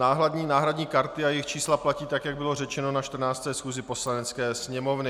Náhradní karty a jejich čísla platí tak, jak bylo řečeno na 14. schůzi Poslanecké sněmovny.